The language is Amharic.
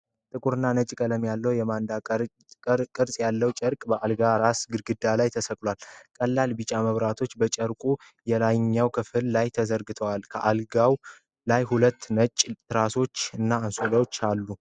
ጥቁርና ነጭ ቀለም ያለው የማንዳላ ቅርጽ ያለው ጨርቅ በአልጋው ራስ ግድግዳ ላይ ተሰቅሏል፡፡ ቀላል ቢጫ መብራቶች በጨርቁ የላይኛው ክፍል ላይ ተዘርግተዋል፡፡ ከአልጋው ላይ ሁለት ነጭ ትራሶች እና አንሶላ አሉ፡፡